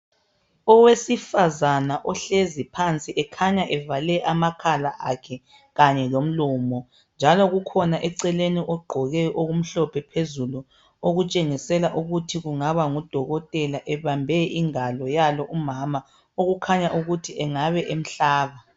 Owesifazana ohlezi phansi, ekhanya evale amakhala akhe, kanye lomlomo, njalo kukhona eceleni. ogqoke okumhlophe phezulu. Okutshengisela ukuthi kungaba ngudokotela. Ebambe ingalo yalo umama. Okukhanya ukuthi engaba emhlaba.